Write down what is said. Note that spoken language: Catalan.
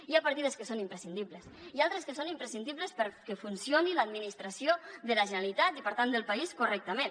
hi ha partides que són imprescindibles i altres que són imprescindibles perquè funcioni l’administració de la generalitat i per tant del país correctament